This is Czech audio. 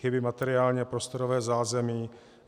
Chybí materiální a prostorové zázemí.